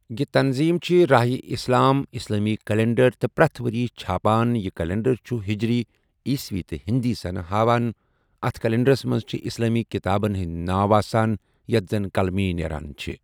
یہِ تنظیم چھےٚ راہ اِسلام اسلامی کلینڈر تہٕ پرتھ وریہ چھاپان یہِ کلینڈر چھ ہجری، عیسوی تہٕ ہندی سنہ ہاوان اَتھ کلینڈرس مَنٛز چھ اسلامی کتابن ہٰندیْ ناو آسان یتھ زَن قلمی نیران چھ ۔